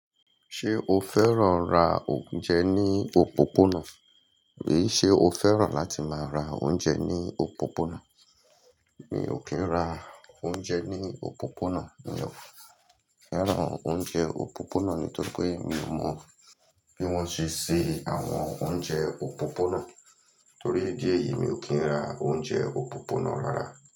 Ṣé o fẹ́ràn ra oúnjẹ ní òpópónà? Mi ṣe o fẹ́ràn láti máa ra oúnjẹ ní òpópónà. Mi ò kí ń ra oúnjẹ ní òpópónà. Mi ò fẹ́ràn oúnjẹ òpópónà nítorípé mi ò mọ bí wọ́n ṣe se àwọn oúnjẹ òpópónà. Torí idí ẹ̀yìí, mi ò kí ń ra oúnjẹ òpópónà rárá.